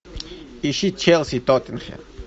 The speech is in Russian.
ищи челси тоттенхэм